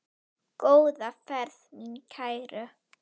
Góða ferð mín kæru.